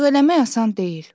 Ancaq eləmək asan deyil.